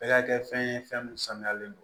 Bɛɛ ka kɛ fɛn ye fɛn min sanuyalen don